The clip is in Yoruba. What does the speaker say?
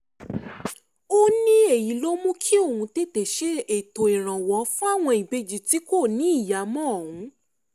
ó ní èyí ló mú kí òun tètè ṣètò ìrànwọ́ fáwọn ìbejì tí kò níyàá mọ ohun